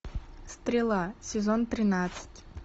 стрела сезон тринадцать